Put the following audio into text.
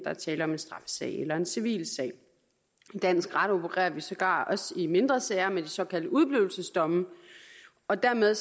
er tale om en straffesag eller en civilsag i dansk ret opererer vi sågar også i mindre sager med de såkaldte udeblivelsesdomme og dermed